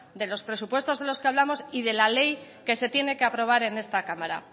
de los presupuestos de los que hablamos y de la ley que se tiene que aprobar en esta cámara